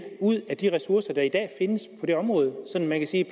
ud af de ressourcer der er i dag findes på det område så man kan sige